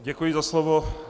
Děkuji za slovo.